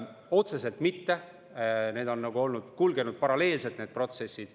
Otseselt mitte, need protsessid on nagu paralleelselt kulgenud.